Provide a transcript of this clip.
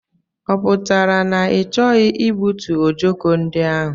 Ọ pụtara na i choghi igbutu ọjọko ndị ahụ?